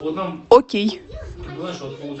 окей